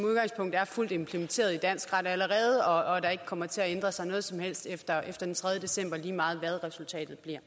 er fuldt implementeret i dansk ret allerede og at der ikke kommer til at ændre sig noget som helst efter den tredje december lige meget hvad resultatet bliver